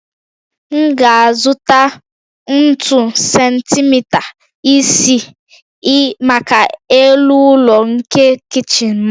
M ga-azụta ntu sentimita isii maka elu ụlọ nke kichin m